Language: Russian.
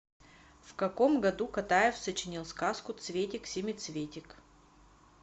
в каком году катаев сочинил сказку цветик семицветик